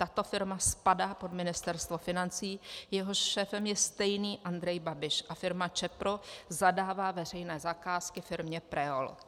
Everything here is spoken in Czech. Tato firma spadá pod Ministerstvo financí, jehož šéfem je stejný Andrej Babiš, a firma Čepro zadává veřejné zakázky firmě Preol.